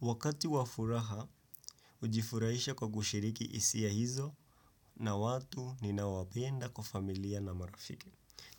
Wakati wa furaha, ujifurahisha kwa kushiriki hisia hizo na watu ninawapenda kwa familia na marafiki.